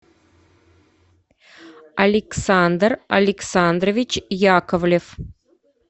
александр александрович яковлев